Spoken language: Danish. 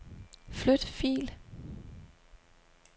Flyt fil.